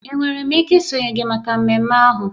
Enwere m ike isonyere gị maka mmemme ahụ?